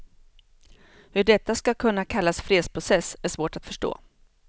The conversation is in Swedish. Hur detta ska kunna kallas fredsprocess är svårt att förstå.